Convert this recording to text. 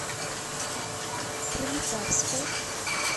пролетарску